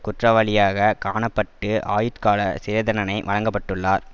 குற்றவாளியாக காண பட்டு ஆயுட்காலச் சிறை தண்டனை வழங்கப்பட்டுள்ளார்